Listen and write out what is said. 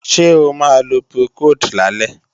Ṣé o máa lo Procold lálẹ́?